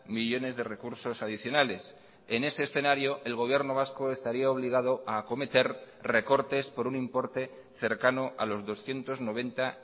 millónes de recursos adicionales en ese escenario el gobierno vasco estaría obligado a acometer recortes por un importe cercano a los doscientos noventa